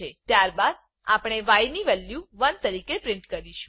ત્યારબાદ આપણે ય ની વેલ્યુ 1 તરીકે પ્રિન્ટ કરીશું